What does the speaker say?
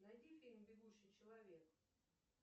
найди фильм бегущий человек